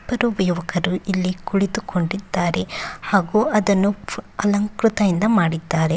ಇಬ್ಬರು ಯುವಕರು ಇಲ್ಲಿ ಕುಳಿತುಕೊಂಡಿದ್ದಾರೆ ಹಾಗೂ ಅದನ್ನ ಅಲಂಕೃತಇಂದ ಮಾಡಿದ್ದಾರೆ